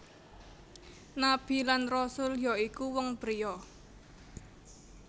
Nabi lan Rasul ya iku wong pria